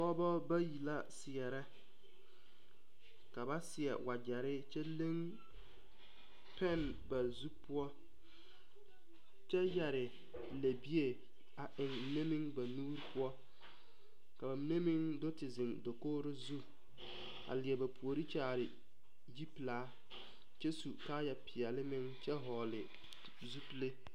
Pɔgebɔ bayi la seɛrɛ ka ba seɛ wagyere kyɛ la pɛn ba zu poɔ kyɛ yɛre lɛbie a eŋ mine meŋ ba nuuri poɔ ka ba mine meŋ do te ziŋ dakogro zu a leɛ ba puori kyaare yipilaa kyɛ su kaaya peɛle meŋ kyɛ vɔgle zupile.